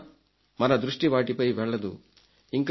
అయినా మన దృష్టి వాటిపైకి వెళ్లదు